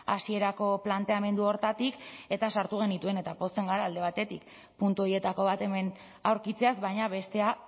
hasierako planteamendu horretatik eta sartu genituen eta pozten gara alde batetik puntu horietako bat hemen aurkitzeaz baina bestea